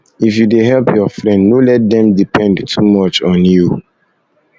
if you dey help your friend no let dem depend too much on you you